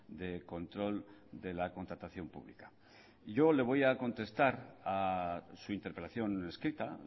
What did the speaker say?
de control de la contratación pública yo le voy a contestar a su interpelación escrita